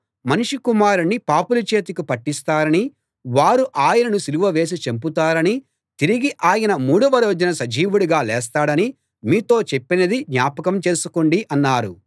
మనుష్య కుమారుణ్ణి పాపుల చేతికి పట్టిస్తారనీ వారు ఆయనను సిలువ వేసి చంపుతారనీ తిరిగి ఆయన మూడవ రోజున సజీవుడిగా లేస్తాడనీ మీతో చెప్పింది జ్ఞాపకం చేసుకోండి అన్నారు